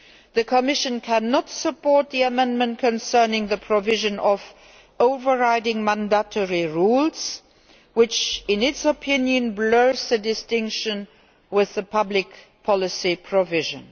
The Commission cannot support the amendment concerning the provision on overriding mandatory rules, which, in its opinion, blurs the distinction with the public policy provision.